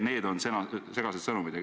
Need on segased sõnumid.